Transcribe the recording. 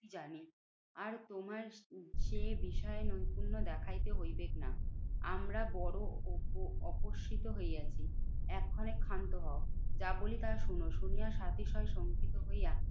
জানি। আর তোমায় সে বিষয় নৈপুণ্য দেখাইতে হইবেক না। আমরা অপ উপস্সিত হইয়াছি। এক্ষণে ক্ষান্ত হও যা বলি তা শোনো। শুনিয়া সাতিশয় শঙ্কিত হইয়া